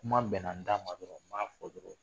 Kuma bɛnna n da ma dɔrɔn n b'a fɔ dɔrɔn.